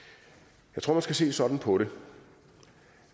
jeg tror at man skal se sådan på det